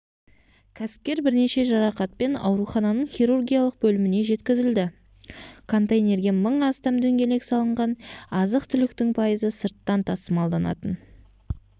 кәсіпкер бірнеше жарақатпен аурухананың хирургиялық бөліміне жеткізілді контейнерге мың астам дөңгелек салынған азық-түліктің пайызы сырттан тасымалданатын